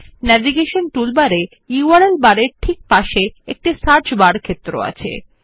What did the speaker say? navigation টুলবারে URL bar এর পরে একটি সার্চ বার ক্ষেত্র আছে